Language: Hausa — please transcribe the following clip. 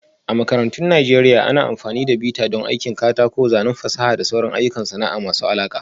A makarantun Najeriya, ana amfani da bita don aikin katako, zanen fasaha da sauran ayyukan sana'a masu alaƙa